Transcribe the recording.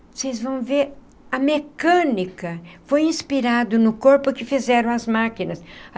Vocês vão ver... a mecânica foi inspirada no corpo que fizeram as máquinas.